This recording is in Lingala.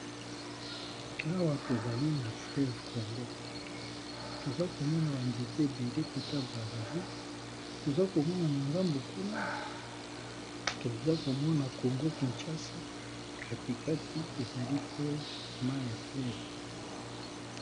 Awa tozali na fleve congo toza komona banzete ebele kota brasivile, toza komona na ngambu kuna toza komona congo kinshasa katikati ezali fleve ma ya fleve.